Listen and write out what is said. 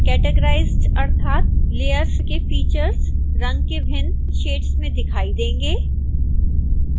categorized अर्थात layers के features रंग के भिन्न शेड्स में दिखाई देंगे